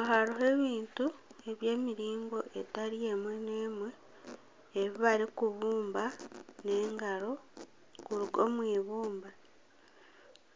Aha hariho ebintu eby'emiringo etari emwe n'emwe ebi barikubumba n'engaro kuruga omu eibumba